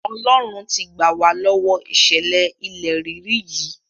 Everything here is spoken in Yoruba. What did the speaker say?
Ọlọ́run ti gbà wá lọ́wọ ìṣẹ̀lẹ̀ ilẹ̀ rírì yìí.